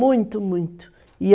Muito, muito, e